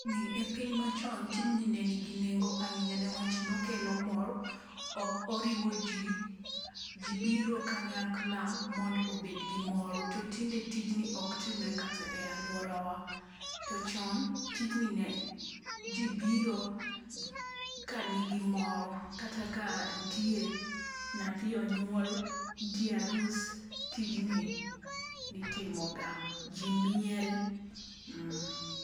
Ni e piny machon tijni ne nigi nengo ahinya niwach ni ne okelo mor, oriwo ji, ji biro kanyakla mon do obed gimor to tinde tijni ok timre kata ei aluora wa. To chon tijni ne ji biro ka nigi mor kata ka nyathi onyuol, nitie arus, tijni itimoga, ji miel mm.